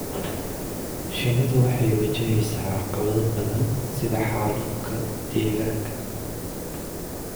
shinnidu waxay wajaheysaa caqabado badan sida xaalufka deegaanka.